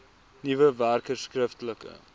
nuwe werkers skriftelike